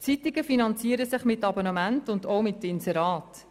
Zeitungen finanzieren sich mittels Abonnementen und Inseraten.